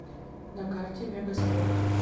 на карте мегаспорт